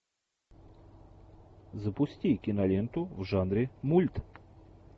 запусти киноленту в жанре мульт